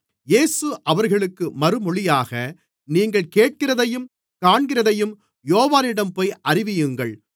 இயேசு அவர்களுக்கு மறுமொழியாக நீங்கள் கேட்கிறதையும் காண்கிறதையும் யோவானிடம்போய் அறிவியுங்கள்